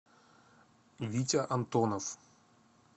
витя антонов